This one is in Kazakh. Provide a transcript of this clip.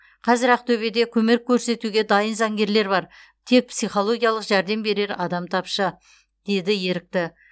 қазір ақтөбеде көмек көрсетуге дайын заңгерлер бар тек психологиялық жәрдем берер адам тапшы деді ерікті